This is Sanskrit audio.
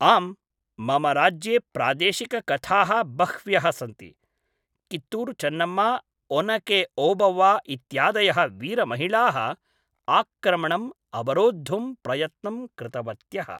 आम् मम राज्ये प्रादेशिककथाः बह्व्यः सन्ति, कित्तूरुचेन्नम्मा ओनके ओबव्वा इत्यादयः वीरमहिलाः आक्रमणम् अवरोद्धुं प्रयत्नं कृतवत्यः।